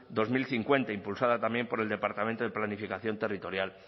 dos mil cincuenta impulsada también por el departamento de planificación territorial